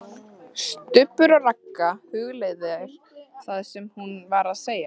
STUBBUR OG RAGGA, hugleiðir það sem hún var að segja.